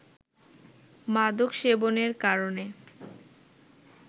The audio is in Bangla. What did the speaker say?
মাদক সেবনের কারণে